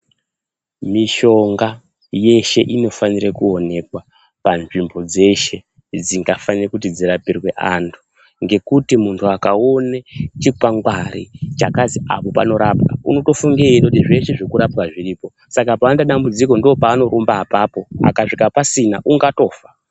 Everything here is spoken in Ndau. Mishonga yeshe inofanire kuonekwa panzvimbo dzeshe dzingafane kuti dzirapirwe anthu ngekuti munthu akaone chikwangwari chakazi apo panorapwa unotofunge eiitoti zveshe zvekurapwa zviripo saka paanoita dambudziko ndoopaanorumba apapo akasvika pasina unotofa.